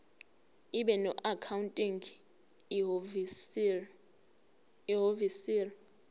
ibe noaccounting ihhovisir